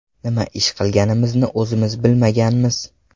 Nima ish qilganimizni o‘zimiz bilmaganmiz.